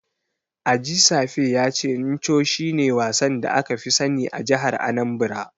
Ajisafe ya ce Ncho shine wasan da aka fi sani a jihar Anambra.